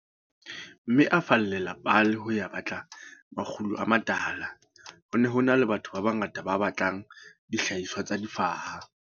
Mme a boela a fallela Paarl ho ya batla makgulo a matala. Ho ne ho na le batho ba bangata ba batlang dihlahiswa tsa difaha.